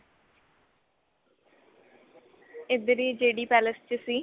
ਇੱਧਰ ਈ JD palace ਚ ਸੀ.